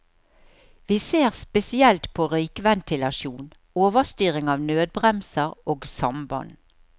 Vi ser spesielt på røykventilasjon, overstyring av nødbremser og samband.